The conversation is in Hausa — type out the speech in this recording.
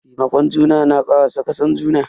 Taimakon juna na kara saka san juna.